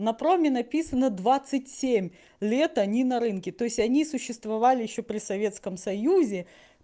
на проме написано двадцать семь лет они на рынке то есть они существовали ещё при советском союзе